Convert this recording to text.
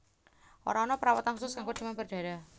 Ora ana perawatan khusus kanggo demam berdarah